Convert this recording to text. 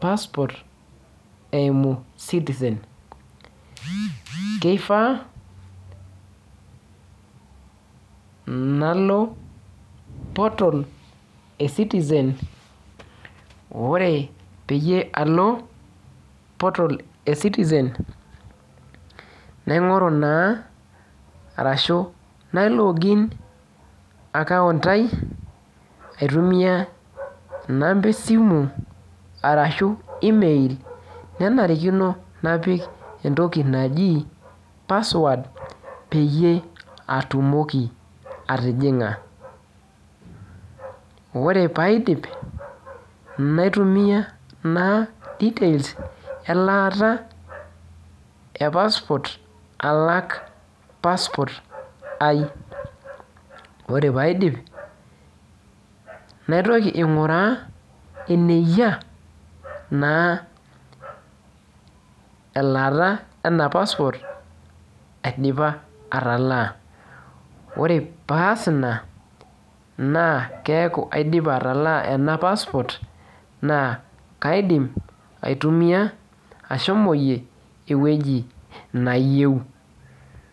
passport eimu Citizen. Keifaa nalo portal e Citizen, ore peyie alo portal e Citizen, naing'oru naa arashu nai log in account ai, aitumia inamba esimu arashu email, nenarikino napik entoki naji password peyie atumoki atijing'a. Orr paidip, naitumia naa details elaata e passport alak passport ai. Ore paidip, naitoki aing'uraa eneyia naa elaata ena passport aidipa atalaa. Ore paas ina, naa keeku aidipa atalaa ena passport, naa kaidim aitumia ashomoyie ewueji nayieu.